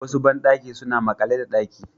Wasu bandaki suna makale da daki